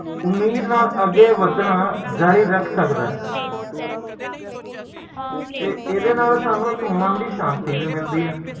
ਏਸ ਕਰਕੇ ਇੱਕ ਵਾਰ ਜਦੋ ਤੁਸੀ ਪਰਿਵਾਰ ਸ਼ੁਰੂ ਕਰਦੇ ਹੋ